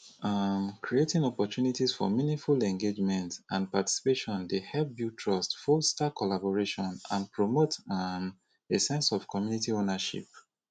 um creating opportunities for meaningful engagement and participation dey help build trust foster collaboration and promote um a sense of community owernership